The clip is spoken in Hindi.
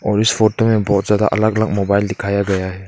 और इस फोटो में बहुत ज्यादा अलग अलग मोबाइल दिखाया गया है।